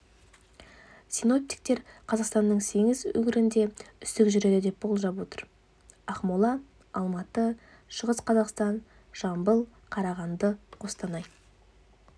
синоптиктер қазақстанның сегіз өңірінде үсік жүреді деп болжап отыр ақмола алматы шығыс қазақстан жамбыл қарағанды қостанай